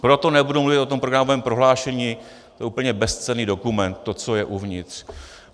Proto nebudu mluvit o tom programovém prohlášení, to je úplně bezcenný dokument, to, co je uvnitř.